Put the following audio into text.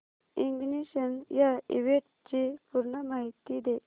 ignition या इव्हेंटची पूर्ण माहिती दे